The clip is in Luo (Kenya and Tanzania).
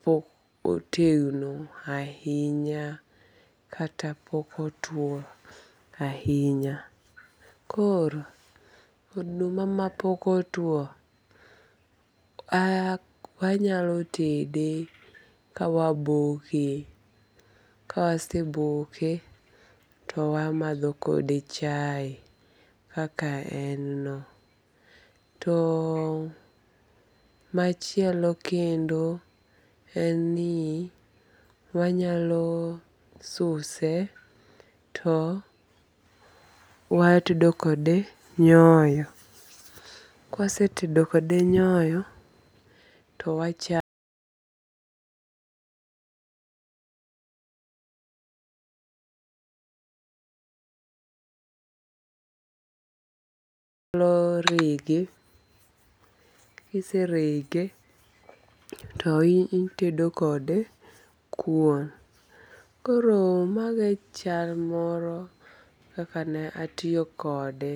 pok otegno ahinya kata pok otuo ahinya. Koro oduma ma pok otuo wanyalo tede ka waboke. Ka waseboke to wamadho kode chae kaka en no. To machielo kendo en ni wanyalo suse to watedo kode nyoyo. Kawasetedo kode nyoyo to wachame wanyalo rege. Kiserege to itedo kode kuon. Koro mago e chal moro kaka ne atiyo kode.